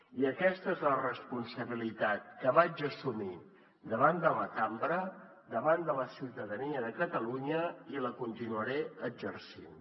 i aquesta és la responsabilitat que vaig assumir davant de la cambra davant de la ciutadania de catalunya i la continuaré exercint